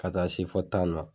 Ka taa se fo tan na